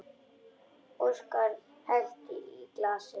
Óskar hellti í glasið.